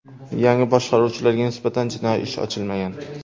Yangi boshqaruvchilarga nisbatan jinoiy ish ochilmagan.